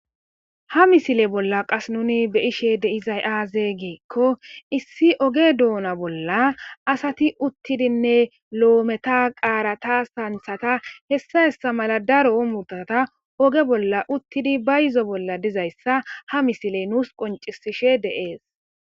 ha misile bolla qas nuni be ishe deizay aaze giikko issi oge doona bolla asati uttidinne lo7ometa qaarata santhata hessa hessa mala daro muddata oge bolla uttidi ba yizo bolla dizayssa ha misile nuus qoncisishe de7ees